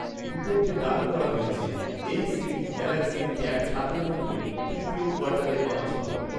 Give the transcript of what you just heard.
রিপোর্টে দাবি করা হয়েছে এই সিরিজ গ্যালাক্সি ট্যাব সাত এর মতই তৃতীয় কোয়ার্টারে লঞ্চ হবে